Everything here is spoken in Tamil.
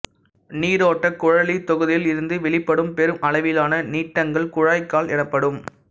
நீரோட்டக் குழலித் தொகுதியில் இருந்து வெளிப்படும் பெருமளவிலான நீட்டங்கள் குழாய்க்கால் எனப்படும்